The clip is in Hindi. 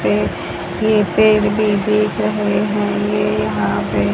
ये पेड़ भी दिख रहे हैं ये यहां पे --